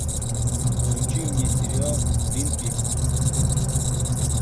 включи мне сериал твин пикс